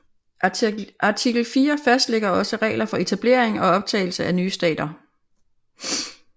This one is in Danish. Artikel fire fastlægger også regler for etablering og optagelse af nye stater